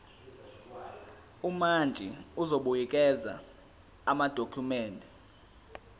umantshi uzobuyekeza amadokhumende